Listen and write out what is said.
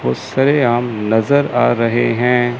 वो सरेआम नजर आ रहे है।